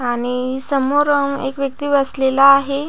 आणि समोर एक व्यक्ति बसलेला आहे.